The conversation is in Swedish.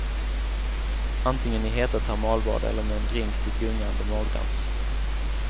Antingen i heta termalbad eller med en drink till gungande magdans.